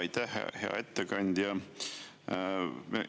Aitäh, hea ettekandja!